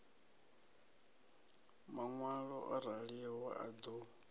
maṋwalo o raliho a ḓo